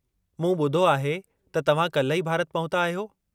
मूं ॿुधो आहे त तव्हा काल्ह ई भारत पहुता आहियो?